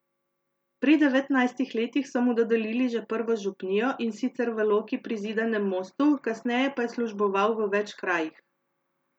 Pri devetnajstih letih so mu dodelili že prvo župnijo, in sicer v Loki pri Zidanem Mostu, kasneje pa je služboval v več krajih.